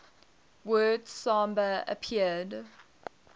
word samba appeared